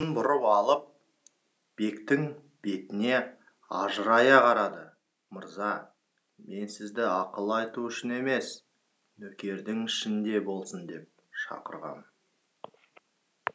атының басын бұрып алып бектің бетіне ажырая қарады мырза мен сізді ақыл айту үшін емес нөкердің ішінде болсын деп шақырғам